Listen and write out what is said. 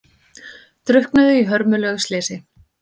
Drukknuðu í hörmulegu slysi